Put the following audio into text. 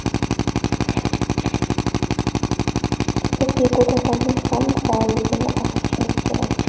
Biz deputatlarning ham faolligini oshirishimiz kerak.